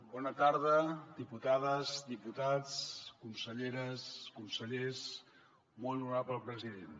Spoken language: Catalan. bona tarda diputades diputats conselleres consellers molt honorable president